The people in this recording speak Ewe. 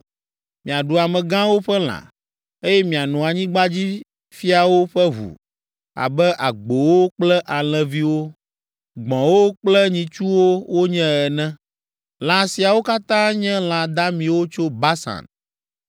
Miaɖu amegãwo ƒe lã, eye miano anyigbadzifiawo ƒe ʋu abe agbowo kple alẽviwo, gbɔ̃wo kple nyitsuwo wonye ene; lã siawo katã nye lã damiwo tso Basan.